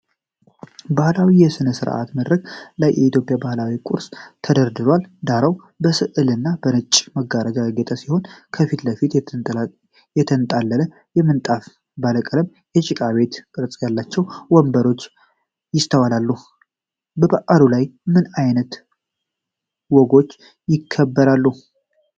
በባህላዊ የሥነ-ሥርዓት መድረክ ላይ የኢትዮጵያ ባህላዊ ቁሳቁሶች ተደርድረዋል። ዳራው በሥዕል እና በነጭ መጋረጃዎች ያጌጠ ሲሆን፣ ከፊት ለፊት የተንጣለለ ምንጣፍና ባለቀለም የጭቃ ቤት ቅርጽ ያላቸው ወንበሮች ይስተዋላሉ። በበዓሉ ላይ ምን ዓይነት ወጎች ይከበራሉ?